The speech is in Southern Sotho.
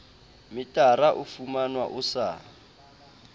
metara o fumanwa o sa